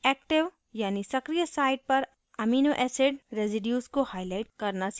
active यानी सक्रीय site पर amino acid residues को highlight करना सीखेंगे